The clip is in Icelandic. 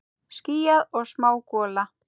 Skýjað og smá gola.